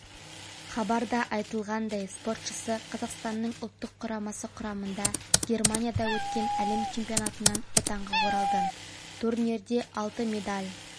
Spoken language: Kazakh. хабарда айтылғандай спортшысы қазақстанның ұлттық құрамасы құрамында германияда өткен әлем чемпионатынан отанға оралды турнирде алты медаль